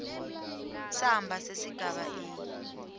samba sesigaba a